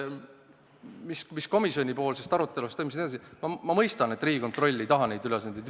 Mis puutub komisjonis toimunud arutelusse, siis ma mõistan, et Riigikontroll ei taha neid ülesandeid.